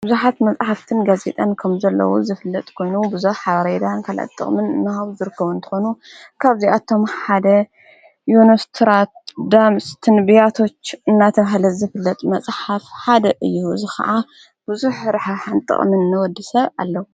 ኣብዙኃት መጻሕፍትን ጋዜጠን ከም ዘለዉ ዝፍለጥ ኮይኑ ብዙኅ ሓብሬዳን ከልኣጥቕምን እኖሃብ ዘርከዉ እንተኾኑ ካብዚኣቶም ሓደ ዮኖስትራት ዳምስ ትንብያቶ እናተውሕለት ዝፍለጥ መጽሓት ሓደ እዩ ዝ ኸዓ ብዙኅ ርሐ ሓንጥቕምን ኒወዲ ሰብ ኣለዉ::